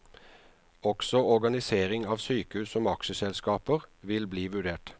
Også organisering av sykehus som aksjeselskaper vil bli vurdert.